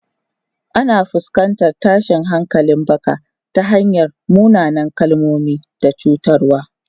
Ana fuskantar tashin hankalin baka ta hanyar munanan kalmomi da cutarwa.